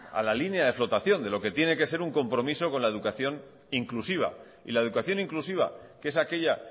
a la línea de flotación de lo que tiene que ser un compromiso con la educación inclusiva y la educación inclusiva que es aquella